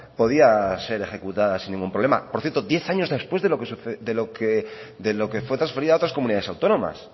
podía ser ejecutada sin ningún problema por cierto diez años después de lo que fue transferida a otras comunidades autónomas